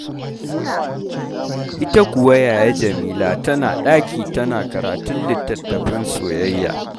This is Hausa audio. Ita kuwa yaya Jamila tana ɗaki tana karatun littattafin soyayya.